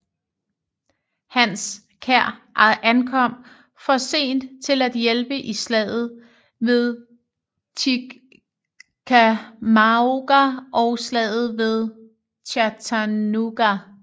Hans kær ankom for sent til at hjælpe i Slaget ved Chickamauga og Slaget ved Chattanooga